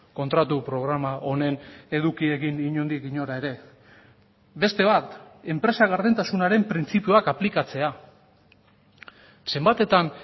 kontratu programa honen edukiekin inondik inora ere beste bat enpresa gardentasunaren printzipioak aplikatzea zenbatetan